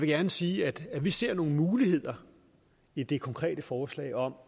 gerne sige at vi ser nogle muligheder i det konkrete forslag om